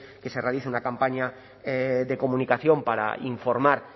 que se realice una campaña de comunicación para informar